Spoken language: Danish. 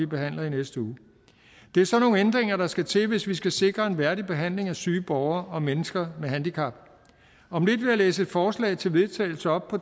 behandles i næste uge det er sådan nogle ændringer der skal til hvis vi skal sikre en værdig behandling af syge borgere og mennesker med handicap om lidt vil jeg læse et forslag til vedtagelse op